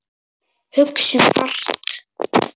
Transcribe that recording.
Hugsum hart.